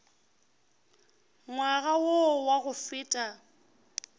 ngwaga wo wa go feta